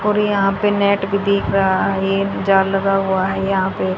और यहां पे नेट भी दिख रहा है। जाल लगा हुआ है यहां पे।